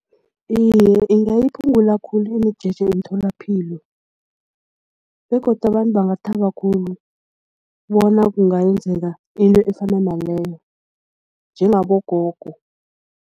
Iye, ingayiphungula khulu imijeje emtholapilo begodu abantu bangathaba khulu bona kungayenzeka into efana naleyo njengabogogo.